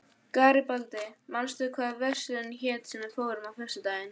Garibaldi, manstu hvað verslunin hét sem við fórum í á föstudaginn?